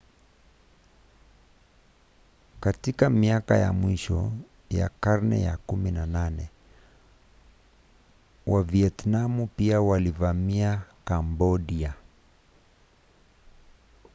katika miaka ya mwisho ya karne ya 18 wavietinamu pia waliivamia kambodia